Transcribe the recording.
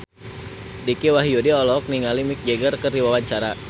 Dicky Wahyudi olohok ningali Mick Jagger keur diwawancara